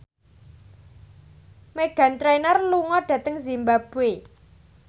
Meghan Trainor lunga dhateng zimbabwe